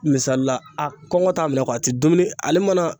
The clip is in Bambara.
Misali la a kɔngɔ t'a minɛ a tɛ dumuni ale mana